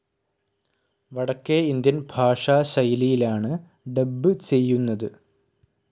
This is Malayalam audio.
വടക്കേ ഇന്ത്യൻ ഭാഷാ ശൈലിയിലാണ് ഡബ്‌ ചെയ്യുന്നത്.